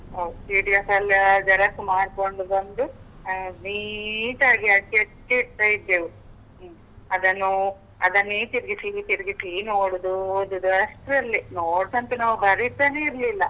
ಹೌದು PDF ಎಲ್ಲ xerox ಮಾಡ್ಕೊಂಡ್ ಬಂದು, neat ಆಗಿ, ಹಚ್ಚಿ ಹಚ್ಚಿ ಇಡ್ತಾ ಇದ್ದೆವು. ಹು ಅದನ್ನು. ಅದನ್ನೇ ತಿರ್ಗಿಸೀ ತಿರ್ಗಿಸೀ ಏನು ಮಾಡುದು? ಓದುದಾ? ಅಷ್ಟ್ರಲ್ಲೇ. notes ಅಂತೂ ನಾವ್ ಬರೀತಾನೇ ಇರ್ಲಿಲ್ಲ.